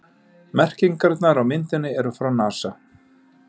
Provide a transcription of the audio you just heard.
Merkingarnar á myndinni eru frá NASA.